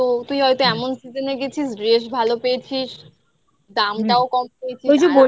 তো তুই হয়তো এমন season এ গেছিস dress ভালো পেয়েছিস, দামটাও কম পেয়েছিস।